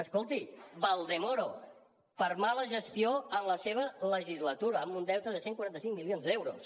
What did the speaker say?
escolti valdemoro per mala gestió en la seva legislatura amb un deute de cent i quaranta cinc milions d’euros